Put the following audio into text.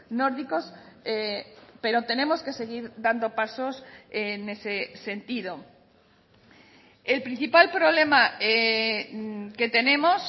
nórdicos pero tenemos que seguir dando pasos en ese sentido el principal problema que tenemos